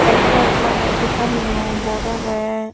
red red lagey ei seattaniyo bord agey.